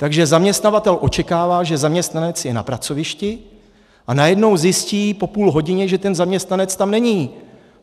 Takže zaměstnavatel očekává, že zaměstnanec je na pracovišti, a najednou zjistí po půl hodině, že ten zaměstnanec tam není.